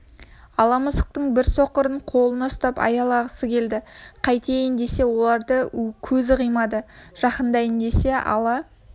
ала мысықтың бір соқырын қолына ұстап аялағысы келді кетейін десе оларды көзі қимады жақындайын десе ала